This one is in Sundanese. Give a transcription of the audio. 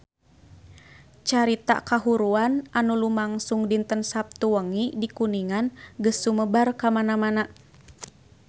Carita kahuruan anu lumangsung dinten Saptu wengi di Kuningan geus sumebar kamana-mana